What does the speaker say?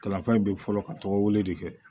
Kalanfa in bɛ fɔlɔ ka tɔgɔ wele de kɛ